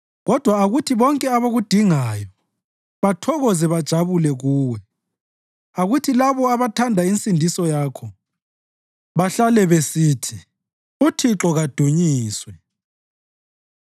Kodwa akuthi bonke abakudingayo bathokoze bajabule kuwe; akuthi labo abathanda insindiso yakho bahlale besithi, “UThixo kadunyiswe!”